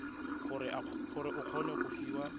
gore o kgone go fiwa